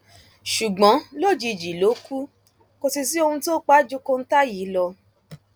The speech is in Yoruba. ṣùgbọn lójijì ló kù kò sì sí ohun tó pa á ju kọńtà yìí lọ